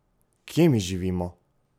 Kje mi živimo?